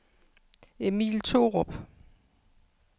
Emil Thorup